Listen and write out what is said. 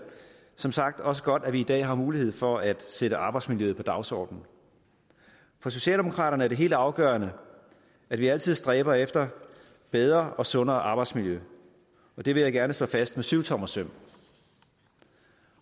som sagt også godt at vi i dag har mulighed for at sætte arbejdsmiljøet på dagsordenen for socialdemokraterne er det helt afgørende at vi altid stræber efter bedre og sundere arbejdsmiljø og det vil jeg gerne slå fast med syvtommersøm